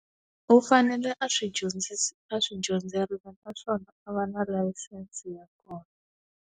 U fanele a swi a swi dyondzerile naswona, a va na layisense ya kona.